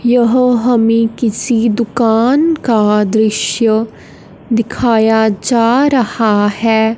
यह हमें किसी दुकान का दृश्य दिखाया जा रहा है।